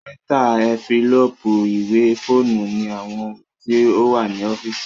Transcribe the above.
Píríntà, ẹ́ńfílóòpù, ìwé, fóònù ni àwọn ohun tí ó wà ní ọ́físì